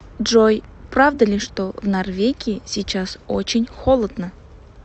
джой правда ли что в норвегии сейчас очень холодно